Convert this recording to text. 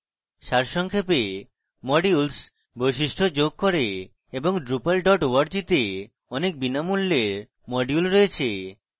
সারসংক্ষেপে modules বৈশিষ্ট্য যোগ করে এবং drupal org to অনেক বিনামূল্যের modules রয়েছে